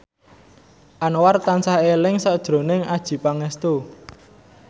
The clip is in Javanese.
Anwar tansah eling sakjroning Adjie Pangestu